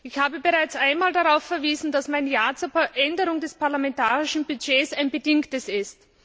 Ich habe bereits einmal darauf verwiesen, dass mein Ja zur Änderung des parlamentarischen Budgets ein bedingtes ist.